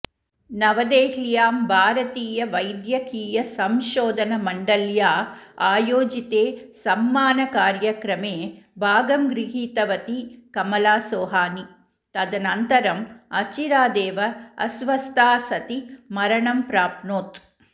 नवदेहल्यां भारतीयवैद्यकीयसंशोधनमण्डल्या आयोजिते सम्मानकार्यक्रमे भागं गृहीतवती कमला सोहानी तदनन्तरम् अचिरादेव अस्वस्था सती मरणं प्राप्नोत्